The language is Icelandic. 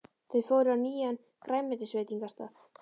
Þau fóru á nýjan grænmetisveitingastað.